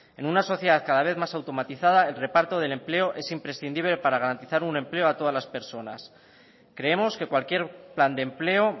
en una sociedad cada vez más automatizada el reparto del empleo es imprescindible para garantizar un empleo a todas las personas creemos que cualquier plan de empleo